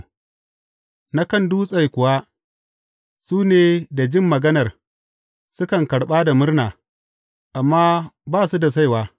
Na kan dutse kuwa, su ne da jin maganar, sukan karɓa da murna, amma ba su da saiwa.